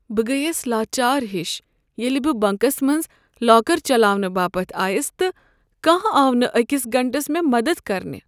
بہٕ گٔیس لاچار ہش ییٚلہ بہٕ بنٛکس منٛز لاکر چلاونہٕ باپت آیس تہٕ کانٛہہ آو نہٕ أکس گنٹس مےٚ مدد کرنہٕ ۔